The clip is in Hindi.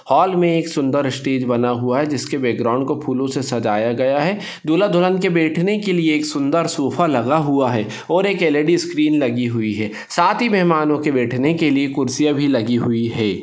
हॉल मे एक सुन्दर स्टेज बना हुआ है जिसके बॅकग्राऊंड को फ़ुलो से सजाया गया है दुल्हा दुल्हन के बैठने के लिये सुन्दर सोफा लगा हुआ है और एक एल_इ_डी स्क्रिन लगी हुइ है साथ हि मेहमानो के बैठने के लिये कुर्सिया भी लगी हुइ है।